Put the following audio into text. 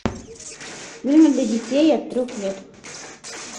фильмы для детей от трех лет